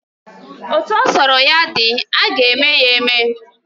Etu ọ sọrọ ya dị, aga eme ya eme